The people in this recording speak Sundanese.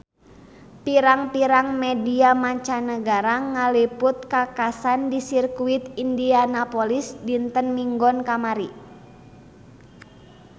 Pirang-pirang media mancanagara ngaliput kakhasan di Sirkuit Indianapolis dinten Minggon kamari